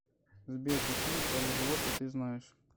сбер какие полиглоты ты знаешь